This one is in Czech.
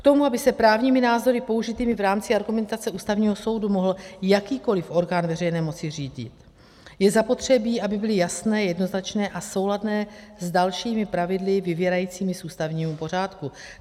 K tomu, aby se právními názory použitými v rámci argumentace Ústavního soudu mohl jakýkoliv orgán veřejné moci řídit, je zapotřebí, aby byly jasné, jednoznačné a souladné s dalšími pravidly vyvěrajícími z ústavního pořádku.